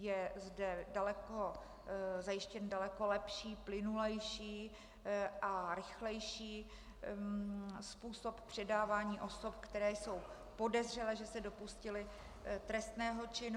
Je zde zajištěn daleko lepší, plynulejší a rychlejší způsob předávání osob, které jsou podezřelé, že se dopustily trestného činu.